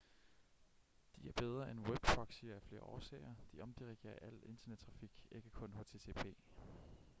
de er bedre end webproxyer af flere årsager de omdirigerer al internettrafik ikke kun http